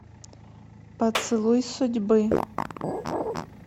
поцелуй судьбы